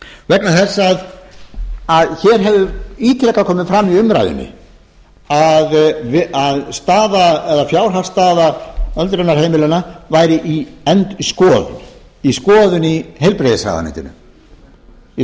vegna þess að hér hefur ítrekað komið fram í umræðunni að fjárhagsstaða öldrunarheimilanna væri í skoðun í heilbrigðisráðuneytinu í